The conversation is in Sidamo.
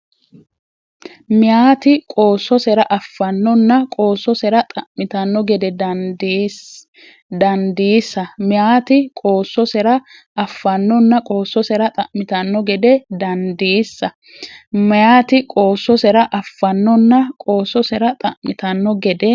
Meyaati qoossosere affannonna qoossosera xa’mitanno gede dandiisa Meyaati qoossosere affannonna qoossosera xa’mitanno gede dandiisa Meyaati qoossosere affannonna qoossosera xa’mitanno gede.